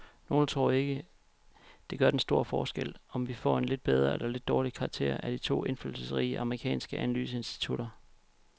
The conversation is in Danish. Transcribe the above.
Nogle tror ikke, det gør den store forskel, om vi får en lidt bedre eller dårligere karakter af de to indflydelsesrige amerikanske analyseinstitutter.